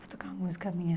Vou tocar uma música minha.